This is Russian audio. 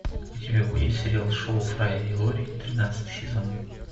у тебя будет сериал шоу фрая и лори тринадцатый сезон